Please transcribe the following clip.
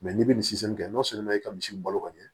n'i bɛ kɛ n'a sɔrɔ i ka misiw balo kɔni